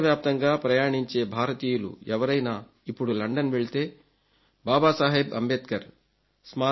ప్రపంచ వ్యాప్తంగా ప్రయాణించే భారతీయులు ఎవరైనా ఇప్పుడు లండన్ వెళితే బాబాసాహెబ్ అంబేద్కర్